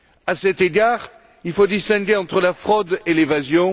À cet égard, il faut distinguer entre la fraude et l'évasion